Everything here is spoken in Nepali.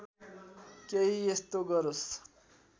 केही यस्तो गरोस्